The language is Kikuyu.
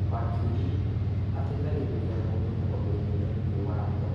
Wakiri ateithagĩrĩria mũndũ maũndũinĩ megiĩ watho